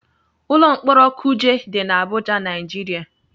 Ụlọ mkpọrọ kuje dị na Abụja, Naijiria